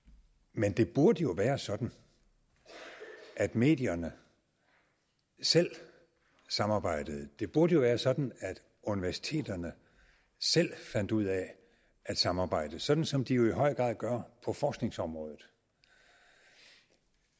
men det burde jo være sådan at medierne selv samarbejdede det burde jo være sådan at universiteterne selv fandt ud af at samarbejde sådan som de jo i høj grad gør på forskningsområdet